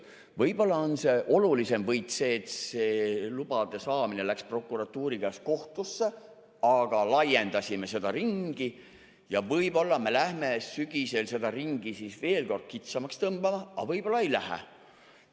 Võib-olla on olulisem võit, et see lubade saamine läks prokuratuuri käest kohtusse, aga laiendasime seda ringi ja võib-olla me lähme sügisel seda ringi veel kord kitsamaks tõmbama, aga võib-olla ei lähe.